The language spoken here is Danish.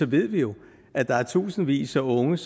ved vi jo at der er tusindvis af unge